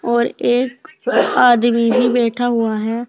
और एक आदमी भी बैठा हुआ है।